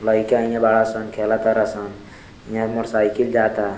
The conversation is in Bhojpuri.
लइका इहाँ बड़ा सन खेला तार सन इहाँ मोटर साइकिल जाता।